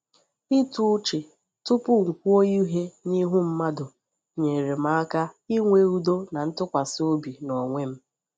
Ịtụ uche tupu m kwuo ihe n’ihu mmadụ nyere m aka inwe udo na ntụkwasị obi n’onwe m.